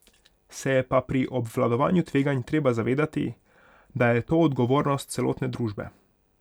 Se je pa pri obvladovanju tveganj treba zavedati, da je to odgovornost celotne družbe.